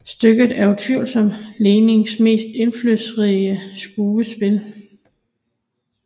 Stykket er utvivlsomt Lessings mest indflydelsesrige skuespil